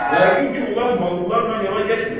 Yəqin ki, ulaq mallarla yola getmir.